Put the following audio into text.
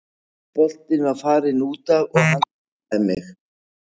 Boltinn var farinn útaf og hann tæklaði mig.